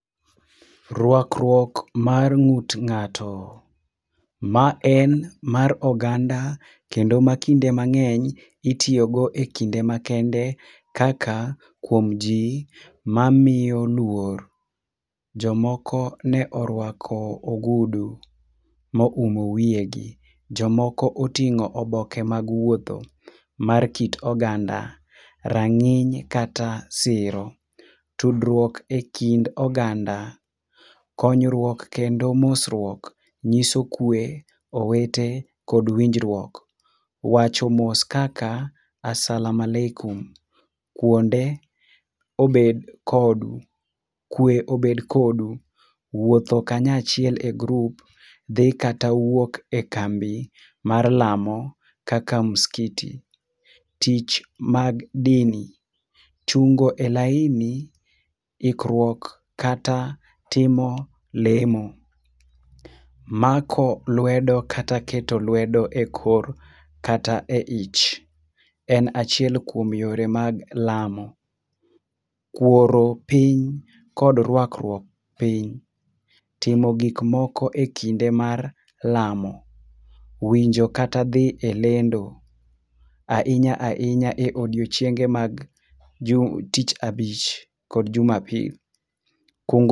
Ruakruok mar ng'ut ng'ato. Ma en mar oganda kendo ma kinde mang'eny itiyo go ekinde makende kaka kuom ji mamiyo luor. Jomoko ne oruako ogudu ma oumo wiyegi. Jomoko ne oting'o oboke mag wuotho mar kit oganda, rang'iny kata siro, tudruok ekind oganda, konyruok kendo mosruok nyiso kwe, owete kod winjruok. Wacho mos kaka asala maleku, kuonde obed kodi, kwe obed kodu. Wuotho kanyachiel e grup dhi kaata wuok e kambi mar lamo kaka muskiti. Tich mag dini, chungo e laini, ikruok kata timo lemo. Mako lwedo kata keto lwedo ekor kata e ich en achiel kuom yore mag lamo. Kuoro piny kod ruakruok piny, timo gik moko ekinde mar lamo, winjo kata dhi e lendo ahinya ahinya e odiechienge mag tich abich kod juma pil.